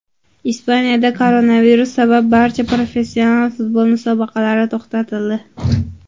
Ispaniyada koronavirus sabab barcha professional futbol musobaqalari to‘xtatildi.